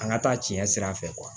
An ka taa tiɲɛ sira fɛ